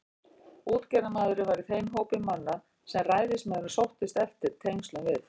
Útgerðarmaðurinn var í þeim hópi manna, sem ræðismaðurinn sóttist eftir tengslum við.